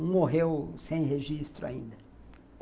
Um morreu sem registro ainda.